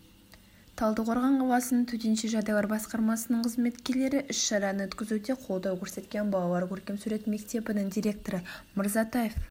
талдықорған қаласының төтенше жағдайлар басқармасының қызметкерлері іс-шараны өткізуде қолдау көрсеткен балалар көркем сурет мектебінің директоры мырзатаев